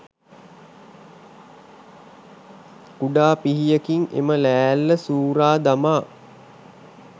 කුඩා පිහියකින් එම ලෑල්ල සූරා දමා